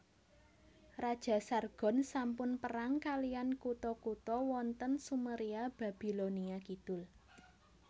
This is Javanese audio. Raja Sargon sampun perang kaliyan kutha kutha wonten Sumeria Babilonia Kidul